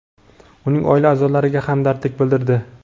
uning oila a’zolariga hamdardlik bildirdi.